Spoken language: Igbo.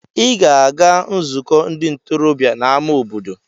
Ị ga-aga nzukọ ndị ntorobịa n'amá obodo!